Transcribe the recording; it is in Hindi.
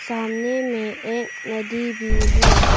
सामने में एक नदी भी है।